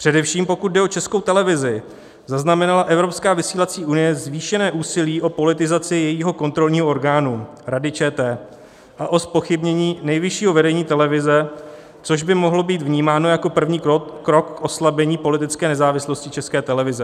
Především pokud jde o Českou televizi, zaznamenala Evropská vysílací unie zvýšené úsilí o politizaci jejího kontrolního orgánu Rady ČT a o zpochybnění nejvyššího vedení televize, což by mohlo být vnímáno jako první krok k oslabení politické nezávislosti České televize.